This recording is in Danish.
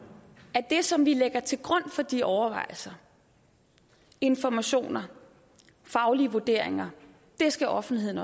at det som vi lægger til grund for de overvejelser informationer faglige vurderinger skal offentligheden